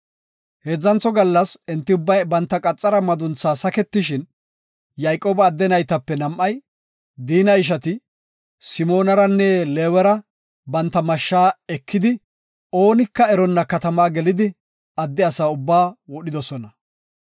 Heedzantho gallas, enti ubbay banta qaxara maduntha saketishin, Yayqooba adde naytape nam7ay, Diina ishati, Simoonaranne Leewera banta mashsha ekidi oonika eronna katama gelidi adde asa ubba wodhidosona.